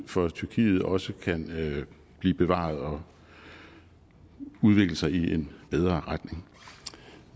for tyrkiet også kan blive bevaret og udvikle sig i en bedre retning